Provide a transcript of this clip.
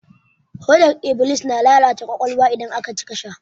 Hodar iblis na lalata ƙwaƙwalwa idan aka cika sha.